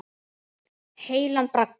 Heilan bragga.